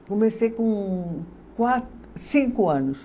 Comecei com qua, cinco anos.